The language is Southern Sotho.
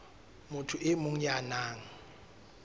motho e mong ya nang